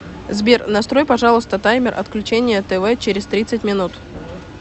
сбер настрой пожалуйста таймер отключения тв через тридцать минут